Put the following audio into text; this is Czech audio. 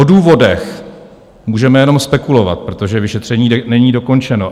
O důvodech můžeme jenom spekulovat, protože vyšetřování není dokončeno.